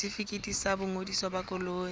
setefikeiti sa boingodiso ba koloi